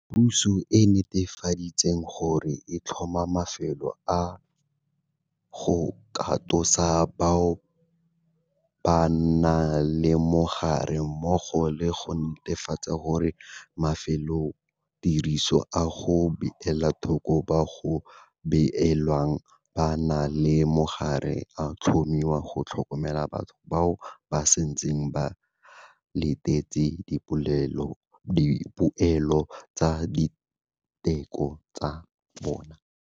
Puso e netefaditse gore e tlhoma mafelo a go katosa bao ba nang le mogare, mmogo le go netefatsa gore mafelotiriso a go beela thoko bao go belaelwang ba na le mogare a tlhomiwa go tlhokomela batho bao ba santseng ba letetse dipoelo tsa diteko tsa bona.